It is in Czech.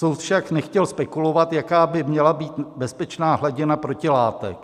Soud však nechtěl spekulovat, jaká by měla být bezpečná hladina protilátek.